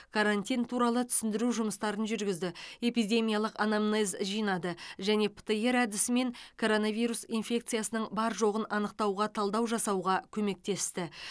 карантин туралы түсіндіру жұмыстарын жүргізді эпидемиялық анамнез жинады және птр әдісімен коронавирус инфекциясының бар жоғын анықтауға талдау жасауға көмектесті